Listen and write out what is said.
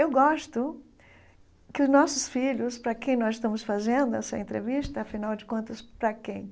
Eu gosto que os nossos filhos, para quem nós estamos fazendo essa entrevista, afinal de contas, para quem?